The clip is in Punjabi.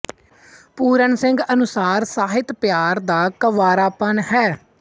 ਪੂਰਨ ਸਿੰਘ ਅਨੁਸਾਰ ਸਾਹਿਤ ਪਿਆਰ ਦਾ ਕੰਵਾਰਾਪਣ ਹੈ